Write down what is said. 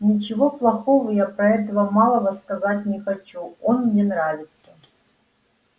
ничего плохого я про этого малого сказать не хочу он мне нравится